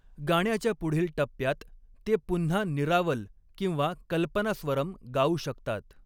गाण्याच्या पुढील टप्प्यात, ते पुन्हा निरावल किंवा कल्पनास्वरम् गाऊ शकतात.